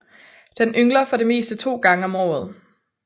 Den yngler for det meste to gange om året